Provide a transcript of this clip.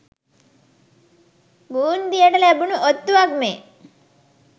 බූන්දියට ලැබුණු ඔත්තුවක් මේ.